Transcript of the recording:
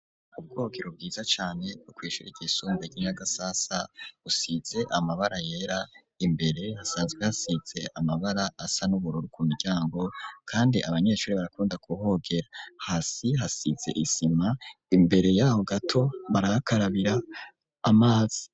ubwogero bwiza cane kw'ishure ry'isumbuye ry'inyagasasa usize amabara yera imbere hasazwe hasitse amabara asa n'ubururu ku miryango kandi abanyeshuri barakunda ku hogera hasi hasitse isima imbere y'aho gato maraakarabira amazi.